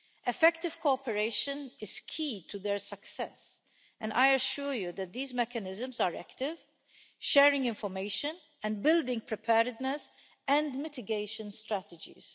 Effective cooperation is key to their success, and I assure you that these mechanisms are active, sharing information and building preparedness and mitigation strategies.